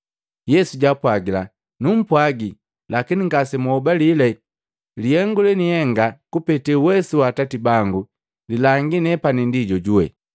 Yesu jwaapwagila, “Nenumpwagi, lakini ngasenhobalela. Lihengu lenienga kupete uwesu wa Atati bangu lilangi nepani ndi jojuwe.